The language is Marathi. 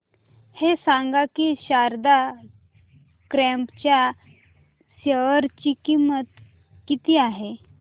हे सांगा की शारदा क्रॉप च्या शेअर ची किंमत किती आहे